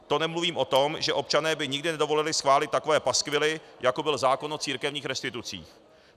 To nemluvím o tom, že občané by nikdy nedovolili schválit takové paskvily, jako byl zákon o církevních restitucích.